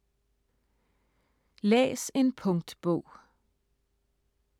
Læs en punktbog